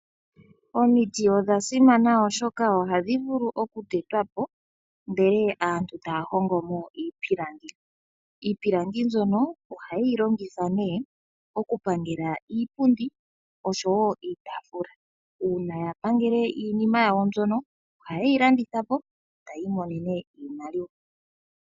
Omiti odha simana oshoka ohadhi vulu okutetwa po ndele aantu taya hongo mo iipilangi. Iipilangi mbyono ohayi longithwa nee okupangela iipundi osho woo iitaafula. Uuna ya pangele iinima yawo mbyoka ohaye yi landitha po, taya imonene iimaliwa.